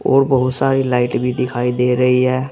और बहुत सारी लाइट भी दिखाई दे रही है।